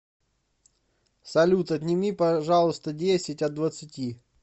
салют отнеми пожалуйста десять от двадцати